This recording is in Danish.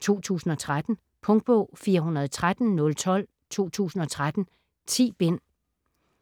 2013. Punktbog 413012 2013. 10 bind.